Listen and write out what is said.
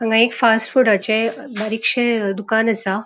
हांगा एक फास्ट फूडाचे बारिक्शे दुकान असा.